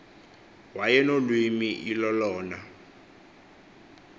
waye nolwimi ilolona